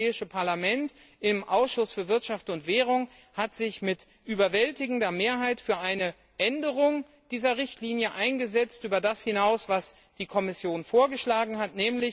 Das Europäische Parlament hat sich im Ausschuss für Wirtschaft und Währung mit überwältigender Mehrheit für eine Änderung dieser Richtlinie eingesetzt, und zwar über das hinaus, was die Kommission vorgeschlagen hat.